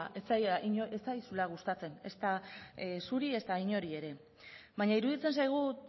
ez zaizula gustatzen ezta zuri ezta inori ere baina iruditzen zaigu